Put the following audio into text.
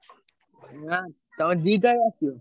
ନା ତମେ ଦି ତାରିଖ୍ ଆସିବ?